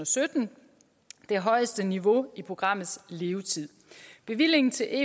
sytten det højeste niveau i programmets levetid bevillingen til